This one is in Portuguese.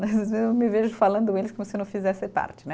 Mas eu me vejo falando eles como se eu não fizesse parte, né?